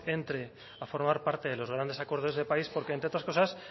entre a formar parte de los grandes acuerdos de país porque entre otras cosas